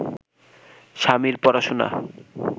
স্বামীর পড়াশোনা